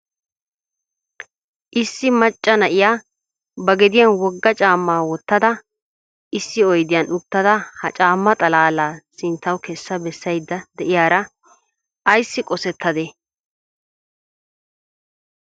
Issi macca na'iya ba gediyan woga caamma wottada issi oyddiyan uttada ha caamma xalaala sinttaw kessa bessaydda de'iyaara ayssi qossetade?